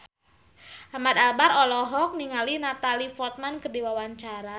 Ahmad Albar olohok ningali Natalie Portman keur diwawancara